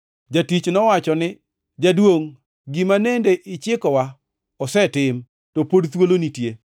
“Jatich nowacho ni, ‘Jaduongʼ gima nende ichikowa osetim, to pod thuolo nitie.’